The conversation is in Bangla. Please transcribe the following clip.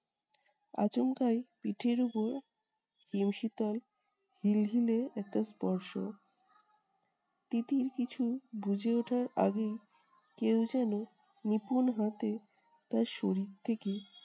আচমকাই পিঠের উপর হিমশীতল হিলহিলে একটা স্পর্শ। তিতির কিছু বুঝে উঠার আগেই কেউ যেন নিপুণ হাতে তার শরীর থেকে